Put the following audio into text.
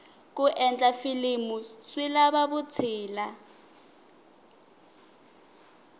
ku endla filimu swi lava vutshila